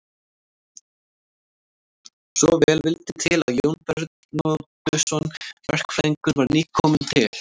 Svo vel vildi til að Jón Bernódusson verkfræðingur var nýkominn til